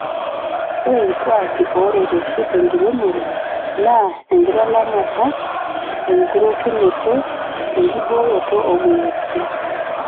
Ore irkuaki ooreteshi te enkiremore naa:enkitalamata, enkurokinoto, enkibooroto oo moyiaritin